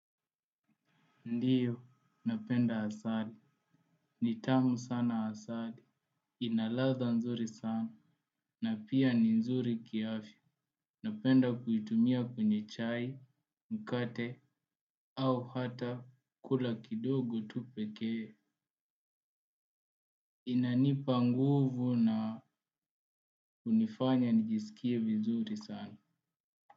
Ndio, napenda asali, ni tamu sana asali, ina ladhaa nzuri sana, na pia ni nzuri kiafya. Napenda kuitumia kwenye chai, mkate, au hata kula kidogo tu pekee, inanipa nguvu na hunifanya nijisikie vizuri sana.